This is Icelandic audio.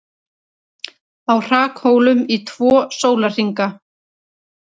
Á hrakhólum í tvo sólarhringa